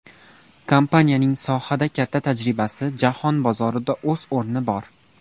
Kompaniyaning sohada katta tajribasi, jahon bozorida o‘z o‘rni bor.